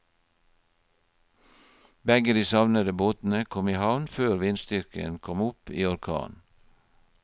Begge de savnede båtene kom i havn før vindstyrken kom opp i orkan.